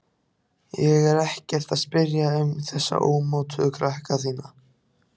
Ég er ekkert að spyrja um þessa ómótuðu krakka þína.